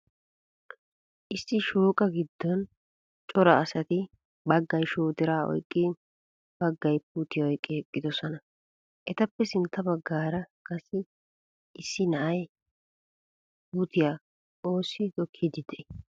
Issi shooqaa giddon cora asati baggay shoodira oyiqqi baggay puutiya oyiqqidi eqqidosona. Etappe sintta baggaara qassi issi issi na'ay ha puutiya oossi tokkiiddi de'ii?